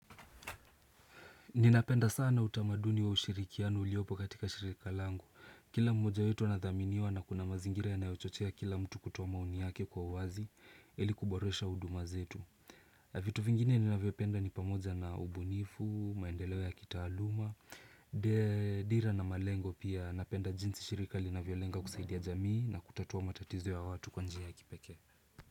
Ninapenda sana utamaduni wa ushirikiano uliopo katika shirika langu. Kila mmoja wetu anadhaminiwa na kuna mazingira yanayochochea kila mtu kutoa maoni yake kwa uwazi ili kuboresha huduma zetu. Vitu vingine ninavyopenda ni pamoja na ubunifu, maendeleo ya kitaaluma, dira na malengo pia. Napenda jinsi shirika linavyolenga kusaidia jamii na kutatua matatizo ya watu kwa njia ya kipekee.